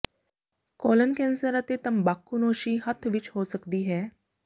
colon cancer ਅਤੇ ਤੰਬਾਕੂਨੋਸ਼ੀ ਹੱਥ ਵਿੱਚ ਹੋ ਸਕਦੀ ਹੈ